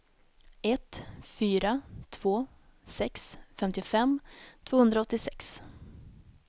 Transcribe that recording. ett fyra två sex femtiofem tvåhundraåttiosex